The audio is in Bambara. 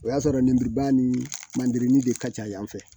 O y'a sɔrɔ lemuruba ni mande de ka ca yan fɛ